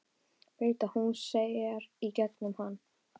Veit að hún sér í gegnum hann.